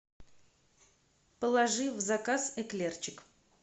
положи в заказ эклерчик